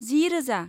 जि रोजा